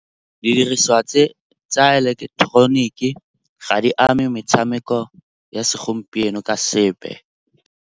Didiriswa tse tsa eleketeroniki ga di ame metshameko ya segompieno ka sepe.